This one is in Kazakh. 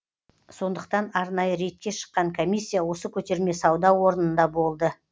сондықтан арнайы рейдке шыққан комиссия осы көтерме сауда орнында болды